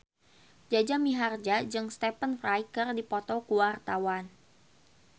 Jaja Mihardja jeung Stephen Fry keur dipoto ku wartawan